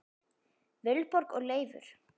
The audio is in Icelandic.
Vilborg og Leifur.